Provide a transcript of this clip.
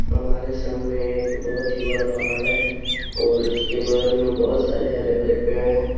हमारे सामने एक बहुत ही बड़ा पहाड़ है और उसके बगल में बहुत सारे हरे-भरे पेड़ हैं।